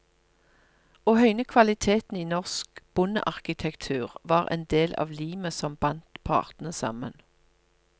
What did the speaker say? Å høyne kvaliteten i norsk bondearkitektur var en del av limet som bandt partene sammen.